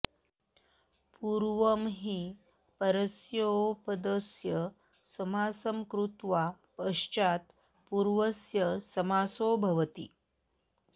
पूर्वं हि परस्योपपदस्य समासं कृत्वा पश्चात् पूर्वस्य समासो भवति